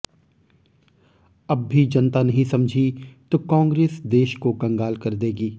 अब भी जनता नहीं समझी तो कांग्रेस देश को कंगाल कर देगी